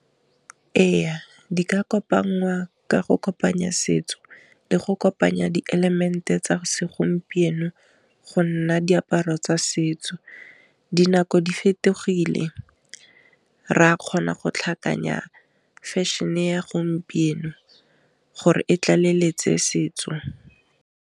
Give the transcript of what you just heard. E ya di ka kopa ngaka go kopanya setso le go kopanya di element-e tsa segompieno go nna diaparo tsa setso, dinako di fetogile re a kgona go tlhakanya fashion-e ya gompieno gore e tla leletse setso.